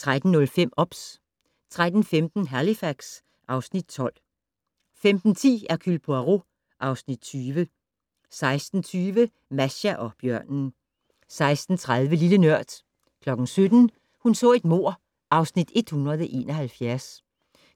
13:05: OBS 13:15: Halifax (Afs. 12) 15:10: Hercule Poirot (Afs. 20) 16:20: Masha og bjørnen 16:30: Lille Nørd 17:00: Hun så et mord (Afs. 171)